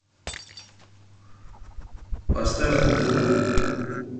поставь кукуруку